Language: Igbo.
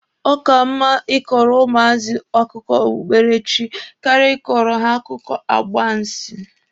Ọ ka mma Ị kọrọ ụmụazị akụkọ okpukpere chi karịa ịkọrọ ha akụkọ agbansi.